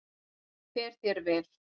Fer þér vel!